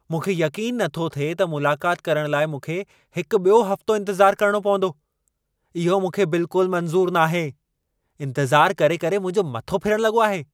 मूंखे यक़ीन नथो थिए त मुलाक़त करण लाइ मूंखे हिकु ॿियो हफ़्तो इंतज़ारु करणो पवंदो। इहो मूंखे बिल्कुलु मंज़ूरु नाहे। इंतज़ार करे करे मुंहिंजो मथो फिरण लॻो आहे।